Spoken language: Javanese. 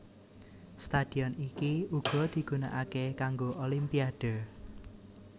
Stadion iki uga digunakake kanggo Olimpiade